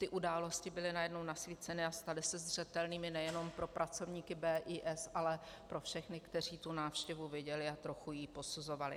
Ty události byly najednou nasvíceny a staly se zřetelnými nejenom pro pracovníky BIS, ale pro všechny, kteří tu návštěvu viděli a trochu ji posuzovali.